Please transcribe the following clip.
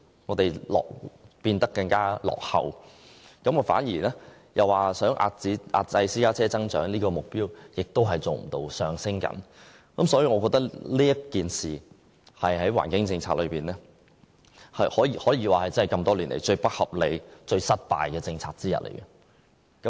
我們變得更落後，也做不到遏止私家車增長的目標，因為私家車數目正在上升。我覺得在環境政策上，這措施可說是多年來最不合理、最失敗的政策之一。